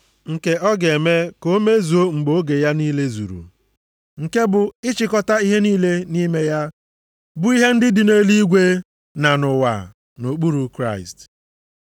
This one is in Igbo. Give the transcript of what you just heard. Nke ọ ga-eme ka o mezuo mgbe oge ya niile zuru, nke bụ ịchịkọta ihe niile nʼime ya, bụ ihe ndị dị nʼeluigwe na nʼụwa nʼokpuru Kraịst.